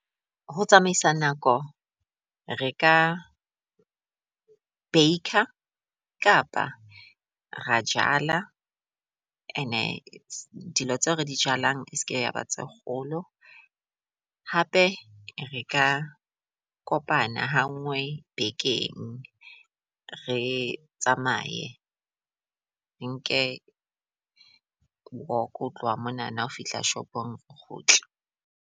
Ho tsamaisa nako re ka baker kapa ra jala and-e dilo tseo re di jalang e seke ya ba tse kgolo. Hape re ka kopana ha ngwe bekeng re tsamaye re nke walk ho tloha monana ho fihla shopong, o kgutle.